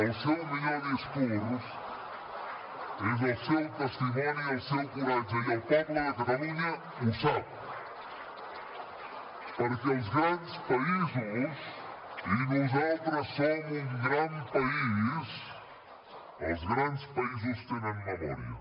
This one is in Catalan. el seu millor discurs és el seu testimoni i el seu coratge i el poble de catalunya ho sap perquè els grans països i nosaltres som un gran país els grans països tenen memòria